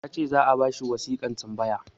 ya ce za a ba shi wasiƙan tambaya